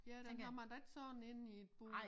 Ja den kommer da ikke sådan ind i et bur